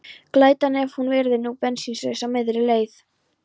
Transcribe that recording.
Glætan, ef hann yrði nú bensínlaus á miðri leið!